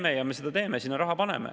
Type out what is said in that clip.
Me teeme neid, paneme sinna raha.